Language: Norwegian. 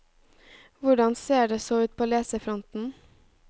Hvordan ser det så ut på leserfronten.